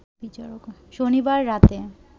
শনিবার রাতে